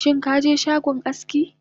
Shinkaje shagon aski?